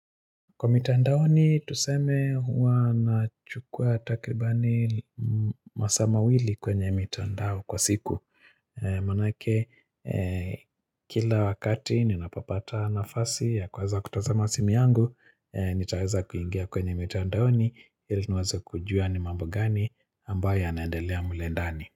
Kwa mitandaoni, tuseme huwa nachukua takribani masaa mawili kwenye mitandao kwa siku. Maanake, kila wakati ninapopata nafasi ya kuweza kutazama simu yangu, nitaweza kuingia kwenye mitandaoni, ili niweze kujua ni mambo gani ambayo yanaendelea mle ndani.